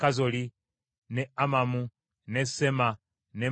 n’e Amamu n’e Sema, n’e Molada,